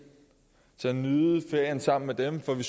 til at nyde ferien sammen med dem for vi